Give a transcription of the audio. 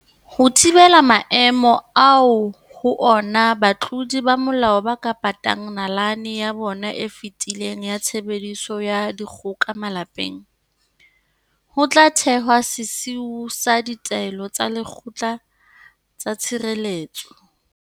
Ho thibela maemo ao ho ona batlodi ba molao ba ka patang nalane ya bona e fetileng ya tshebediso ya dikgoka malapeng, ho tla thehwa sesiu sa ditaelo tsa lekgotla tsa tshireletso.